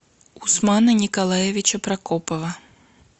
усмана николаевича прокопова